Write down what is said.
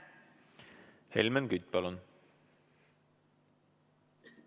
Helmen Kütt, palun!